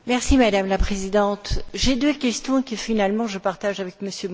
Madame la Présidente, j'ai deux questions que, finalement, je partage avec M.